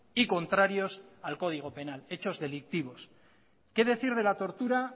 y contrarios al código penal hechos delictivos qué decir de la tortura